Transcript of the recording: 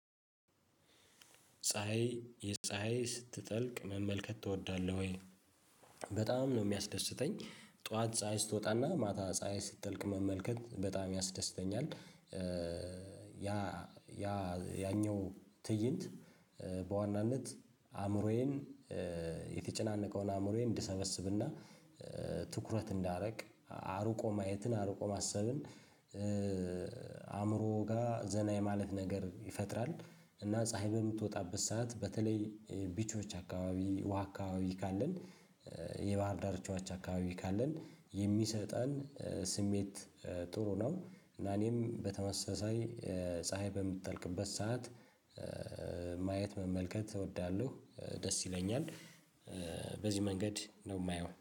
ፀሀይ የፀሀይ ስትጠልቅ መመልከት ትወዳለህ ወይ? በጣም ነው የሚያስደስተኝ ጠዋት ፀሀይ ስትወጣና ማታ ፀሀይ ስትጠልቅ መመልከት በጣም ያስደስተኛል። ያ ያ ያኛው ትእይንት በዋናነት አእምሮዬን የተጨናነቀውን አእምሮዬን እንድሰበስብና ትኩረት እንዳረግ አርቆ ማየትን አሩቆ ማሰብን አእምሮ ጋር ዘና የማለት ነገር ይፈጥራል። እና ፀሀይ በምትወጣበት ሰዓት በተለይ ቢቾች አካባቢ ውሃ አካባቢ ካለን የባህር ዳርቻዎች አካባቢ ካለን የሚሰጠን ስሜት ጥሩ ነው። እና እኔም በተመሳሳይ ፀሀይ በምትጠልቅበት ሰዓት ማየት መመልከት እወዳለሁ ደስ ይለኛል። በዚህ መንገድ ነው የማየው